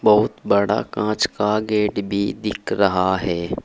बहुत बड़ा कांच का गेट भी दिख रहा है।